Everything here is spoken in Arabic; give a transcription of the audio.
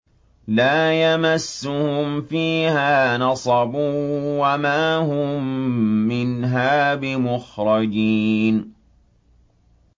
لَا يَمَسُّهُمْ فِيهَا نَصَبٌ وَمَا هُم مِّنْهَا بِمُخْرَجِينَ